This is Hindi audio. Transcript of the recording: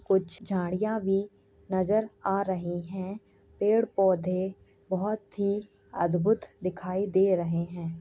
कुछ झाड़ियां भी नजर आ रही हैं। पेड़ पौधे बहोत ही अद्भुत दिखाई दे रहे हैं।